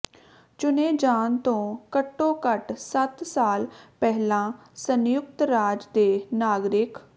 ਚੁਣੇ ਜਾਣ ਤੋਂ ਘੱਟੋ ਘੱਟ ਸੱਤ ਸਾਲ ਪਹਿਲਾਂ ਸੰਯੁਕਤ ਰਾਜ ਦੇ ਨਾਗਰਿਕ